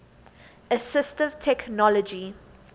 assistive technology